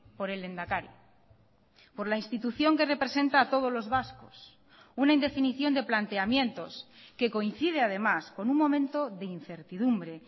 por el lehendakari por la institución que representa a todos los vascos una indefinición de planteamientos que coincide además con un momento de incertidumbre